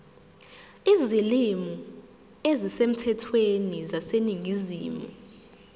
izilimi ezisemthethweni zaseningizimu